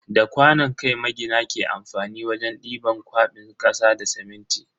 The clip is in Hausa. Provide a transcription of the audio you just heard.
Da kwanon kai magina ke amfani wajen diban kwabin kasa da siminti.